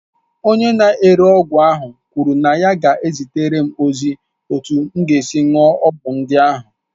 Onye na-ere ọgwụ ahụ kwuru na ya ga-ezitere m ozi etu esi aṅụ ọgwụ ndị ahụ